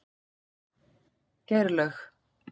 Geirlaug